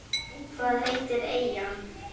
Hvað heitir eyjan?